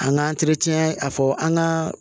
An ka a fɔ an ka